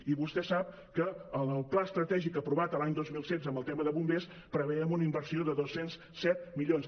i vostè sap que en el pla estratègic aprovat l’any dos mil setze en el tema de bombers prevèiem una inversió de dos cents i set milions